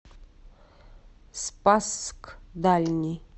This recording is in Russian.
спасск дальний